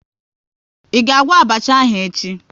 Ị ga-agwọ abacha ahụ echi?